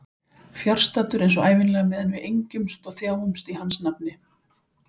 Fjarstaddur eins og ævinlega meðan við engjumst og þjáumst í hans nafni.